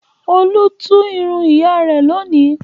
Olú tú irun ìyá rẹ̀ lónìí.